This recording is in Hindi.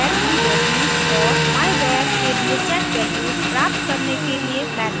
myvar की वैल्यूज और myvar के लिए सेट वैल्यूज प्राप्त करने के लिए मेथड्स परिभाषित करना